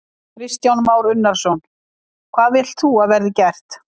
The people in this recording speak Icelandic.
Kristján Már Unnarsson: Hvað vilt þú að verði gert?